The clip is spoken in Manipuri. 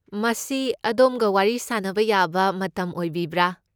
ꯃꯁꯤ ꯑꯗꯣꯝꯒ ꯋꯥꯔꯤ ꯁꯥꯟꯅꯕ ꯌꯥꯕ ꯃꯇꯝ ꯑꯣꯏꯕꯤꯕ꯭ꯔꯥ?